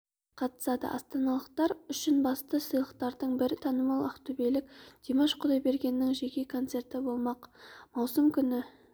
қатысады астаналықтар үшін басты сыйлықтардың бірі танымал ақтөбелік димаш құдайбергеннің жеке концерті болмақ маусым күні